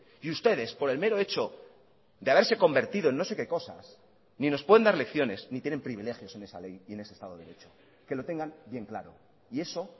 y ustedes por el mero hecho de haberse convertido en no sé qué cosas ni nos pueden dar lecciones ni tienen privilegios en esa ley y en ese estado de derecho que lo tengan bien claro y eso